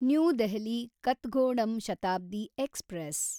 new Delhi Kathgodam Shatabdi express